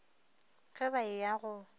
ge ba e ya go